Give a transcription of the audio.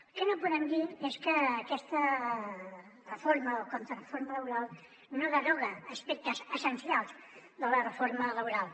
el que no podem dir és que aquesta reforma o contrareforma laboral no deroga aspectes essencials de la reforma laboral